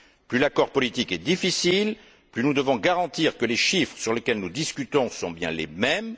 Plus l'accord politique est difficile, plus nous devons garantir que les chiffres sur lesquels nous discutons sont bien les mêmes.